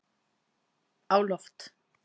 á loft